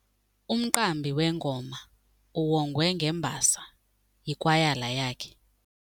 Umqambi wengoma uwongwe ngembasa yikwayala yakhe.